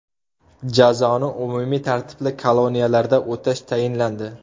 Jazoni umumiy tartibli koloniyalarda o‘tash tayinlandi.